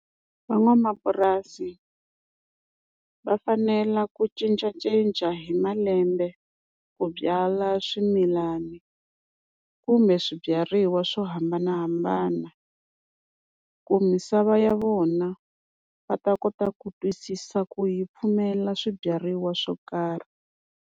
Van'wamapurasi va fanela ku cincacinca hi malembe ku byala swimilani, kumbe swibyariwa swo hambanahambana ku misava ya vona va ta kota ku twisisa ku yi pfumela swibyariwa swo karhi.